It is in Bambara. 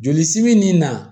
Joli simi nin na